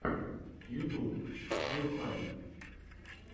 ютуб хаюхай